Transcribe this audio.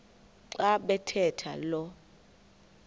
xa bathetha lo